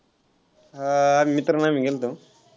हा मित्र आणि आम्ही गेल्तो.